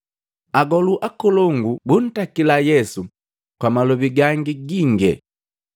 Agolu akolongu buntakila Yesu kwa malobi gangi ginge.